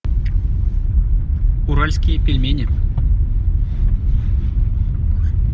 уральские пельмени